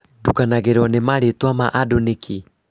Ndukanagĩrwo nĩ marĩtwa ma andũ nĩkĩ?